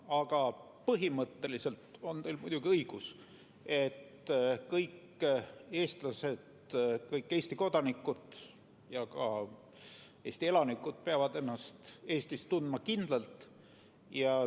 Aga põhimõtteliselt on teil muidugi õigus, et kõik eestlased, kõik Eesti kodanikud, Eesti elanikud peavad ennast Eestis tundma kindlalt.